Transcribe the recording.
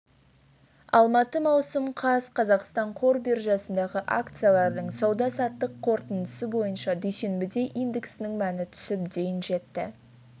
алматы маусым қаз қазақстан қор биржасындағы акциялардың сауда-саттық қорытындысы бойынша дүйсенбіде индексінің мәні түсіп дейін жетті